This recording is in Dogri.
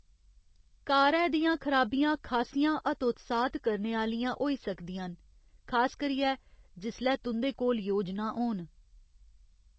कारै दियां खराबियां खासियां हतोत्साहत करने आह्लियां होई सकदियां न, खास करियै जिसलै तुं'दे कोल योजनां होन।